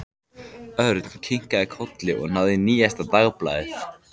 Örn kinkaði kolli og náði í nýjasta dagblaðið.